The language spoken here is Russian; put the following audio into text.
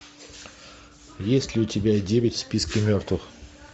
есть ли у тебя девять в списке мертвых